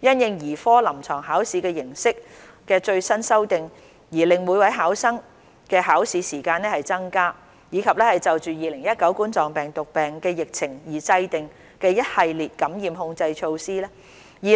因應兒科臨床考試形式的最新修訂而令每位考生的考試時間增加，以及就2019冠狀病毒病疫情而制訂的一系列感染控制措施 ，2021